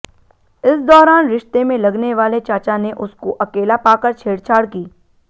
इस दौरान रिश्ते में लगने वाले चाचा ने उसको अकेला पाकर छेड़छाड़ की